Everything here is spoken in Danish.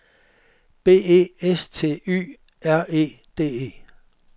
B E S T Y R E D E